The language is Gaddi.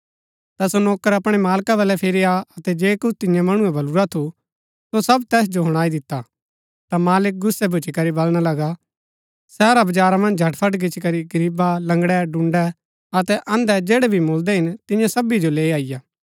ता सो नौकर अपणै मालका बल्लै फिरी आ अतै जे कुछ तियें मणुऐ बल्लू रा थू सो सब तैस जो हुणाई दिता ता मालिक गुस्सै भुच्‍ची करी बलणा लगा शहरा बजारा मन्ज झटफट गिचीकरी गरीबा लंगड़ै डून्‍डै अतै अन्धै जैड़ै भी मुळदै हिन तियां सभी जो लैई अईआ